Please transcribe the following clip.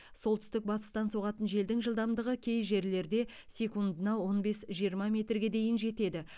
солтүстік батыстан соғатын желдің жылдамдығы кей жерлерде секундына он бес жиырма метрге дейін жетеді